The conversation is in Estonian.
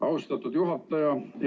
Austatud juhataja!